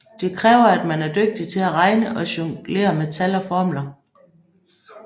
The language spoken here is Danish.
Det kræver at man er dygtig til at regne og jonglere med tal og formler